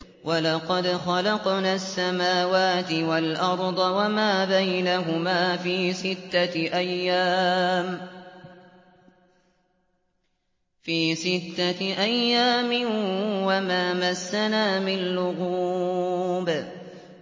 وَلَقَدْ خَلَقْنَا السَّمَاوَاتِ وَالْأَرْضَ وَمَا بَيْنَهُمَا فِي سِتَّةِ أَيَّامٍ وَمَا مَسَّنَا مِن لُّغُوبٍ